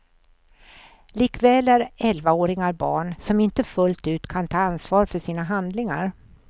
Likväl är elvaåringar barn, som inte fullt ut kan ta ansvar för sina handlingar.